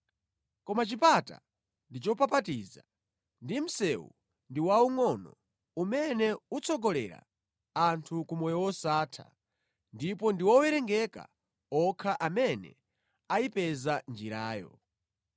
Koma chipata ndi chopapatiza ndi msewu ndi waungʼono umene utsogolera anthu ku moyo wosatha ndipo ndi owerengeka okha amene ayipeza njirayo.